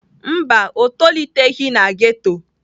Mba, o toliteghị na ghetto.